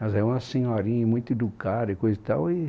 Mas é uma senhorinha muito educada e coisa e tal. E